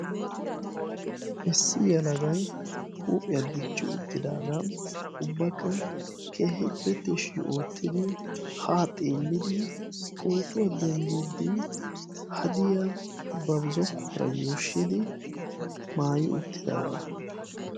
issi yelagay huuphiyaa diichi uttidagaa ubbakka keehippe tishshi oottidi haa xeellidi pootuwaa denddiidi haadiyaa ba zookkuwaara yuushshidoi maayi uuttidaagaa.